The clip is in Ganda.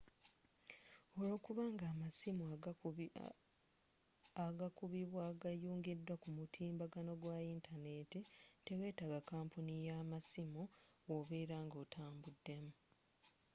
olwokuba nga amasimu agakubibwa gayungiddwa ku mukutu gwa yintaneti tewetaga kampuni y'amasiimu wobeera oba nga otambuddemu